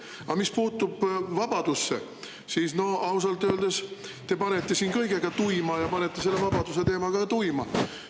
Aga mis puutub vabadusse, siis ausalt öeldes te panete siin kõigega tuima ja panete selle vabaduse teemaga ka tuima.